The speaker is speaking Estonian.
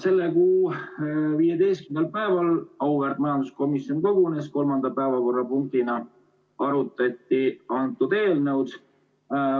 Selle kuu 15. päeval auväärt majanduskomisjon kogunes ja kolmanda päevakorrapunktina arutati antud eelnõu.